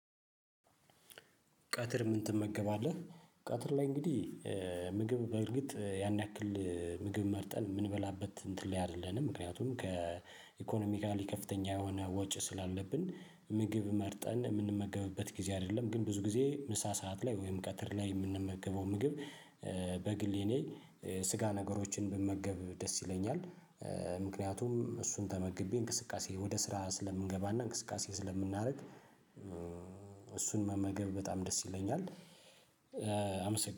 ቀትር ምን ትመገባለህ? ቀትር ላይ እንግዲህ ምግብ በእርግጥ ያን ያክል ምግብ መርጠን የምንበላበት እንትን ላይ አይደለንም ምክንያቱም ከኢኮኖሚካሊ ከፍተኛ የሆነ ወጪ ስላለብን ምግብ መርጠን የምንመገብበት ጊዜ አይደለም ግን ብዙ ጊዜ ምሳ ሰዓት ላይ ወይም ቀትር ላይ የምንመገበው ምግብ። በግል የኔ ስጋ ነገሮችን ብመገብ ደስ ይለኛል። ምክንያቱም እሱን ተመግቤ እንቅስቃሴ ወደ ስራ ስለምንገባና እንቅስቃሴ ስለምናደርግ። እሱን መመገብ በጣም ደስ ይለኛል። አመሰግናለሁ